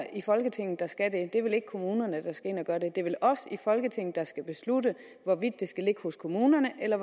i folketinget der skal det det er vel ikke kommunerne der skal ind at gøre det det er vel os i folketinget der skal beslutte hvorvidt det skal ligge hos kommunerne eller